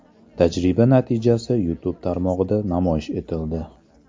Tajriba natijasi YouTube tarmog‘ida namoyish etildi.